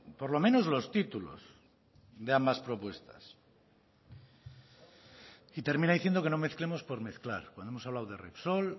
por lo menos los títulos de ambas propuestas y termina diciendo que no mezclemos por mezclar cuando hemos hablado de repsol